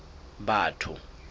batho